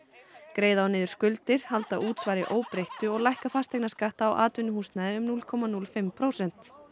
greiða á niður skuldir halda útsvari óbreyttu og lækka fasteignaskatta á atvinnuhúsnæði um núll komma núll fimm prósent